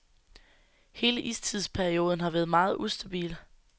Hele istidsperioden har været meget ustabil.